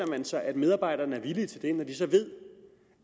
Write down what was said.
man sig at medarbejderne er villige til det når de så ved